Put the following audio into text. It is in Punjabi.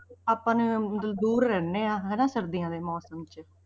ਆਪਾਂ ਨੂੰ ਦ~ ਦੂਰ ਰਹਿੰਦੇ ਹਾਂ ਹਨਾ ਸਰਦੀਆਂ ਦੇ ਮੌਸਮ 'ਚ।